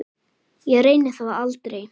Ég reyni það aldrei.